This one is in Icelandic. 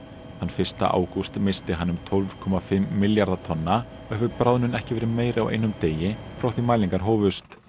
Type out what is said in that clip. þann fyrsta ágúst missti hann um tólf komma fimm milljarða tonna og hefur bráðnun ekki verið meiri á einum degi frá því mælingar hófust